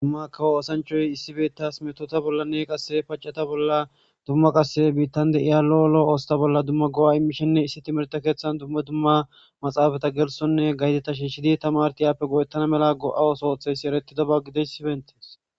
Tuma kawo oosanchchay issi bettas mettota qaseakka pacetta bolla dummaqase biittan diya lo'o lo'o asata bolla dumma go'a imishenne issi timihirte keththan dumma dumma maaxafeta gelsonne gazexata shiishshidii tamaaretti aape go'etana mala go'a ooththo ooththidabba gidoyssi eretannaba godoyssi beettes.